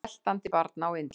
Sveltandi barna á Indlandi!